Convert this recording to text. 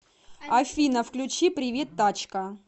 афина включи привет тачка